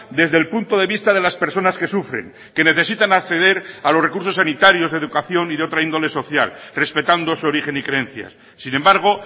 desde el punto de vista de las personas que sufren que necesitan acceder a los recursos sanitarios de educación y de otra índole social respetando su origen y creencias sin embargo